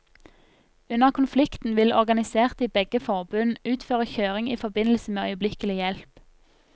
Under konflikten vil organiserte i begge forbund utføre kjøring i forbindelse med øyeblikkelig hjelp.